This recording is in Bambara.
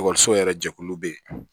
Ekɔliso yɛrɛ jɛkulu bɛ yen